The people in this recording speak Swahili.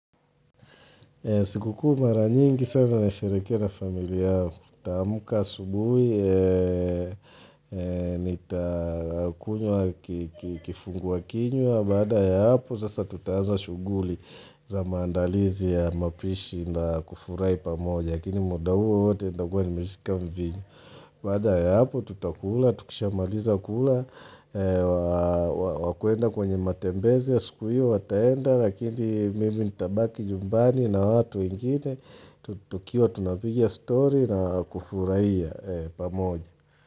Sikukuu mara nyingi sana nasherehekea na familia yangu. Nitaamka asubuhi Nitakunywa kifungua kinywa. Baada ya hapo, sasa tutaanza shughuli za maandalizi ya mapishi na kufurahi pamoja. Lakini muda huo wote nitakuwa nimeshika mvinyo. Baada ya hapo tutakula. Tukishamaliza kula, wakwenda kwenye matembezi ya siku hiyo, wataenda, lakini mimi nitabaki nyumbani na hao watu wengine, tukiwa tunapigia story na kufurahia pamoja.